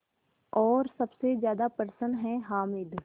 और सबसे ज़्यादा प्रसन्न है हामिद